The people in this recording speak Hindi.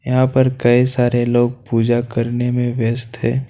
यहां पे कई सारे लोग पुजा करने में व्यस्त है।